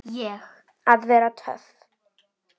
Að vera töff.